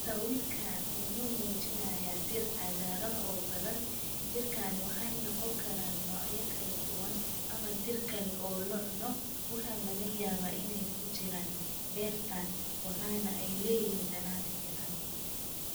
Sawirkaan wuxuu muujinayaa dir cagaaran oo badan. Dirkaan waxaan noqon karaan noocyo kala duwan ama dir kale oo locuno. Waxaan laga yaabaa in ay ku jiraan beertaan. Wuxaana ay leeyihiin dhanan fiican.